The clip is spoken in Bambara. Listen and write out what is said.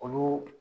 Olu